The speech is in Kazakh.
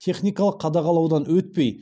техникалық қадағалаудан өтпей